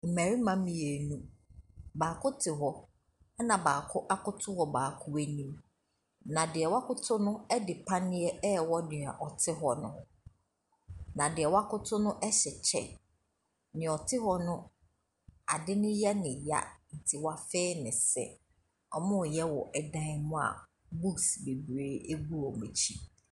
Mmarima mmienu. Baako te hɔ na baako akoto wɔ baako anim. Na deɛ wakoto no de paneɛ rewɔ nea ɔte hɔ no. Na nea wakoto no hyɛ kyɛ. Nea ɔte hɔ no ade no yɛ no ya nti wafee ne se. Wɔreyɛ wɔ dan mu a books bebree gu wɔn akyi.